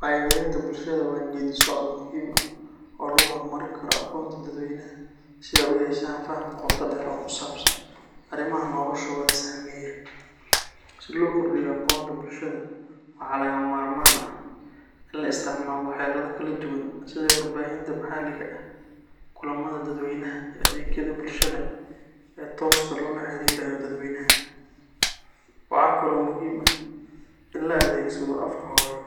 Wacyigelinta bulshada waa geeddi-socod muhiim ah oo lagu horumarin karo aqoonta dadweynaha si ay u yeeshaan faham qoto dheer oo ku saabsan arrimaha noloshooda saameeya. Si loo kordhiyo aqoonta bulshada, waxaa lagama maarmaan ah in la isticmaalo xeelado kala duwan sida warbaahinta maxalliga ah, kulamada dadweynaha, iyo adeegyada bulshada ee tooska loola xiriirayo dadweynaha. Waxa kale oo muhiim ah in la adeegsado afka hooyo